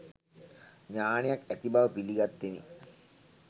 ඥානයක් ඇති බව පිළිගත්තෙමි.